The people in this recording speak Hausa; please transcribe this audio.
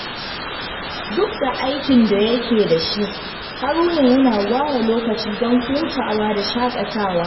Duk da aikin da yake da shi, Haruna yana ware lokaci don hutawa da shaƙatawa.